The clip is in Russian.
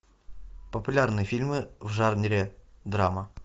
популярные фильмы в жанре драма